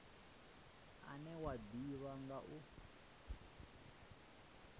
une wa ḓivhea nga u